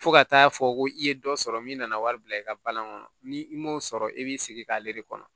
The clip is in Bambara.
Fo ka taa fɔ ko i ye dɔ sɔrɔ min nana wari bila i ka balan kɔnɔ ni i m'o sɔrɔ i b'i sigi k'ale de kɔnɔ